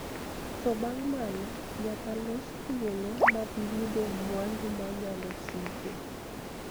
To bang' mano, nyaka los thuolo mag yudo mwandu ma nyalo siko,